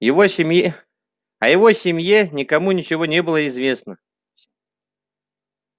о его семье никому ничего не было известно